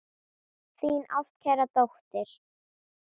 Þín ástkæra dóttir.